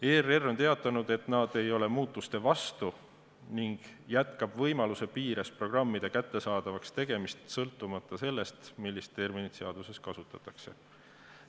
ERR on teatanud, et nad ei ole muutuste vastu ning nad jätkavad võimaluse piires programmide kättesaadavaks tegemist, sõltumata sellest, millist terminit seaduses kasutatakse.